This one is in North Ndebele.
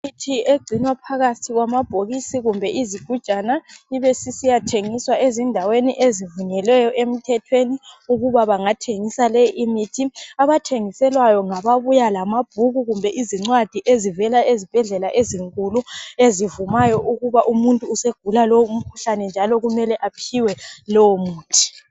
Imithi egcinwa phakathi kwamabhokisi kumbe izigujana ibesisiya thengiswa ezindaweni ezivunyelweyo emthethweni ukubabangathengisa leyi imithi. Abathengiselwayo ngaba buya lamabhuku kumbe izincwadi ezivela ezibhedlela ezinkulu ezivumayo ukuba umuntu usegula lowu mkhuhlane njalo kumele aphiwe lowo muntu.